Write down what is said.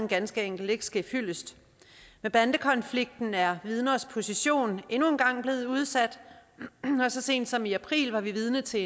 ganske enkelt ikke ske fyldest med bandekonflikten er vidners position endnu en gang blevet udsat og så sent som i april var vi vidne til